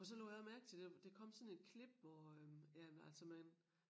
For så lagde jeg mærke til det der kom sådan et klip hvor øh ja men altså man